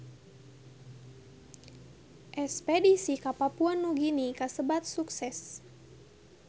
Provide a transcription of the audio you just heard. Espedisi ka Papua Nugini kasebat sukses